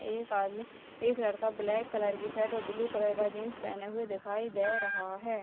एक आदमी एक लड़का ब्लैक कलर की शर्ट और ब्लू कलर का जीन्स पहने हुए दिखाई दे रहा है।